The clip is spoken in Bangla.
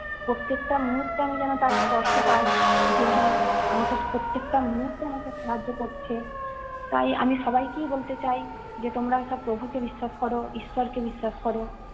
প্রত্যেকটা মুহূর্তে আমি যেন তার স্পর্শ পাই, যে হ্যাঁ, আমাকে প্রত্যেকটা মুহূর্তে আমাকে সাহায্য করছে। তাই আমি সবাইকেই বলতে চাই যে তোমরা সব প্রভুকে বিশ্বাস করো, ঈশ্বরকে বিশ্বাস কর।